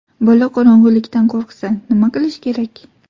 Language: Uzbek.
Bola qorong‘ilikdan qo‘rqsa, nima qilish kerak?.